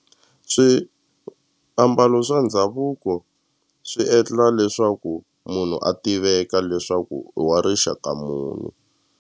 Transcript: Swiambalo swa ndhavuko swi endla leswaku munhu a tiveka leswaku i wa rixaka muni.